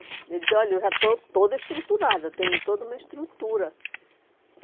Eu disse, olha, eu já estou toda estruturada, tenho toda uma estrutura.